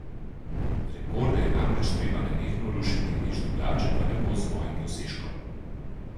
Rekorde je namreč treba nenehno rušiti, nič drugače pa ne bo z mojim dosežkom.